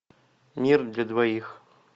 мир для двоих